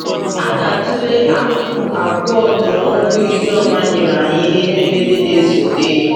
A ga-atụle akụkụ abụọ nke ọrụ Ijoma nyere anyị na edemede na-esote.